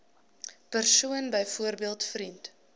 persoon byvoorbeeld vriend